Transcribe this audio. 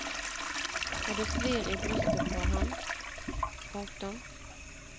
Og det svir i brystet på ham. punktum